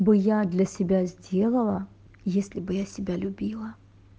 бо я для себя сделала если бы я себя любила